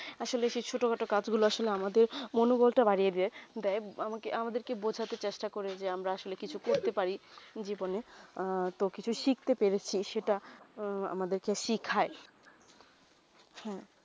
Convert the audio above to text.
কাজ গুলু আমাদের মনোবল তা বাড়িয়ে দায়ে দায়ে আমাদের কে বোঝাতে চেষ্টা করে যে আমরা আসলে কিছু করতে পারি জীবনে তো কিছু শিখতে পেরেছি সেটা আমাদের কে শিখায়ে হেঁ